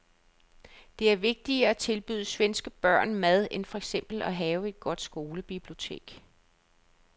Det er vigtigere at tilbyde svenske børn mad end for eksempel at have et godt skolebibliotek.